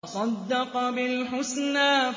وَصَدَّقَ بِالْحُسْنَىٰ